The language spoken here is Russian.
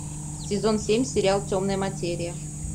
сезон семь сериал темная материя